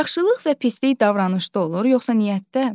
Yaxşılıq və pislik davranışda olur, yoxsa niyyətdə?